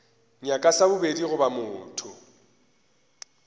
nyaka sa bobedi goba motho